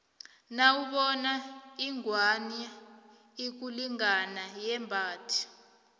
nawubona ingwani ikulingana yembhathe